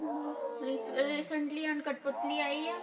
ਹੁਣੀ ਅਹ recently ਹੁਣ ਕਟਪੁਤਲੀ ਆਈ ਹੈ।